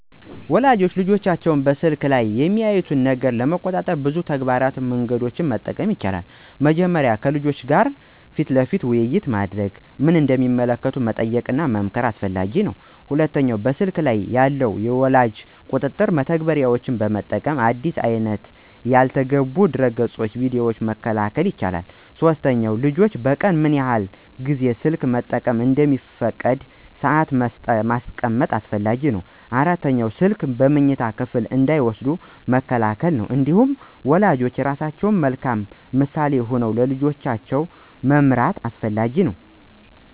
ወላጆች ልጆቻቸው በስልክ ላይ የሚያዩትን ነገር ለመቆጣጠር ብዙ ተግባራዊ መንገዶችን መጠቀም ይችላሉ። መጀመሪያ ከልጆቻቸው ጋር ክፍት ውይይት በማድረግ ምን እንደሚመለከቱ መጠየቅና መመክር በጣም አስፈላጊ ነው። ሁለተኛ በስልክ ላይ ያሉ የወላጅ ቁጥጥር መተግበሪያዎችን በመጠቀም አዲስ አይነት ያልተገቡ ድረገፆችንና ቪዲዮዎችን መከልከል ይቻላል። ሶስተኛ ልጆች በቀን ምን ያህል ጊዜ ስልክ መጠቀም እንደሚፈቀድ ሰአት ማስቀመጥ ያስፈልጋል። አራተኛ ስልኩን በመኝታ ክፍል እንዳይወስዱ መከልከል ነው። እንዲሁም ወላጆች ራሳቸው በመልካም ምሳሌ ሆነው ልጆቻቸውን መምራት አስፈላጊ ነው።